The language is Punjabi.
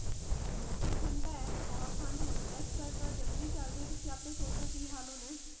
ਮੌਸਮ ਠੰਡਾ ਐ ਬਹੁਤ ਠੰਡ ਹੋ ਰਹੀ ਐ ਅੱਜ-ਕੱਲ ਤਾ ਜਨਵਰੀ ਚਲਦੀ ਆ ਤੁਸੀ ਆਪੇ ਸੋਚੋ ਕਿ ਹਾਲ ਹੋਣਾ ਐ